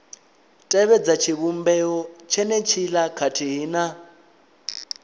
tevhedza tshivhumbeo tshenetshiḽa khathihi na